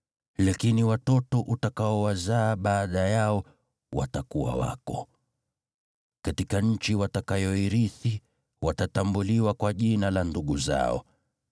Lakini watoto utakaowazaa baada yao watakuwa wako. Katika nchi watakayoirithi, watatambuliwa kwa jina la ndugu zao.